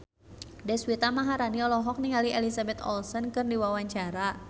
Deswita Maharani olohok ningali Elizabeth Olsen keur diwawancara